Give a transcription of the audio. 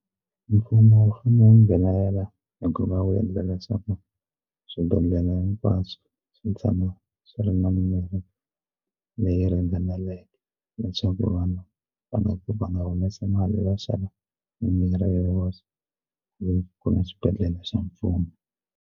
Mfumo wu nghenelela hi ku va wu endla leswaku swibedhlele hinkwaswo swi tshama swi ri na mimirhi leyi ringaneleke leswaku vanhu va nga ku va nga humesi mali va xava mimirhi hi voxe ku ya xibedhlele xa mfumo.